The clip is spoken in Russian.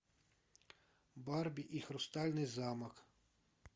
барби и хрустальный замок